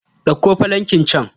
Ɗauko filankin can.